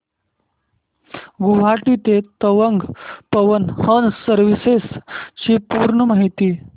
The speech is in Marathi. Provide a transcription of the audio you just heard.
गुवाहाटी ते तवांग पवन हंस सर्विसेस ची पूर्ण माहिती